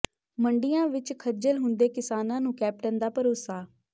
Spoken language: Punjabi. ਮੰਡੀਆਂ ਵਿਚ ਖੱਜਲ ਹੁੰਦੇ ਕਿਸਾਨਾਂ ਨੂੰ ਕੈਪਟਨ ਦਾ ਭਰੋਸਾ